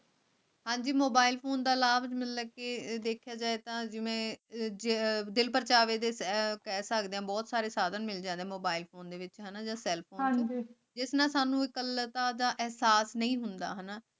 ਅੱਜ mobile phone ਦਾ ਲਾਭ ਮਿਲ ਸਕੇ ਏਥੇ ਅਰਬ ਦੇ ਪਤਾਵੇ ਦੇ ਹੈ ਪੈਸਾ ਬਹੁਤ ਸਾਰੇ ਸਾਧਨ ਹੈ ਜਿਆਦਾ mobile phone sell phone ਅੱਜ ਐਲਫ਼ੈਂਜ਼ੋ ਇਕੱਲਤਾ ਦਾ ਅਹਿਸਾਸ ਨਹੀਂ ਹੁੰਦਾ ਹੈ